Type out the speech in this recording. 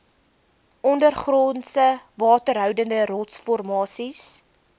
ondergrondse waterhoudende rotsformasies